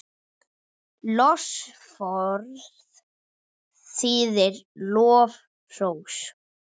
Lofsorð þýðir lof, hrós.